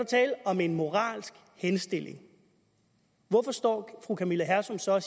tale om en moralsk henstilling hvorfor står fru camilla hersom så